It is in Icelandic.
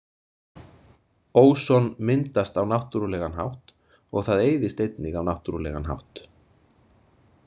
Óson myndast á náttúrulegan hátt og það eyðist einnig á náttúrulegan hátt.